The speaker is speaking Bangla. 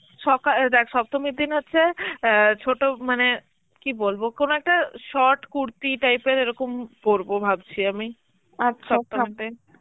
সকাল~ অ্যাঁ দেখ সপ্তমীর দিন হচ্ছে অ্যাঁ ছোট মানে, কি বলবো কোন একটা short কুর্তি type এর এরকম পূর্ব ভাবছি আমি সপ্তমীতে.